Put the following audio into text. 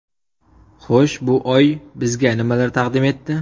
Xo‘sh, bu oy bizga nimalar taqdim etdi?